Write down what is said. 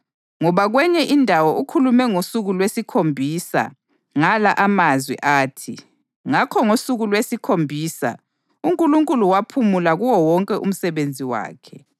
Ngoba kwenye indawo ukhulume ngosuku lwesikhombisa ngala amazwi athi: “Ngakho ngosuku lwesikhombisa uNkulunkulu waphumula kuwo wonke umsebenzi wakhe.” + 4.4 UGenesisi 2.2